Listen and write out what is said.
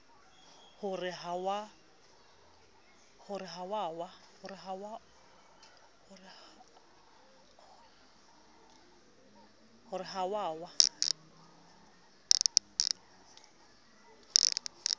ho re ha o a